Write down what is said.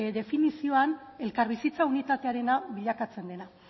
definizioan elkarbizitza unitatearena bilakatzen dela